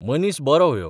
मनीस बोरो व्यो.